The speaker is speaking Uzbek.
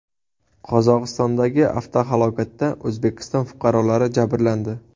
Qozog‘istondagi avtohalokatda O‘zbekiston fuqarolari jabrlandi.